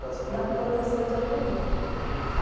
de algodão. Da plantação de algodão.